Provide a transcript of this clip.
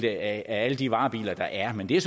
af alle de varebiler der er men det er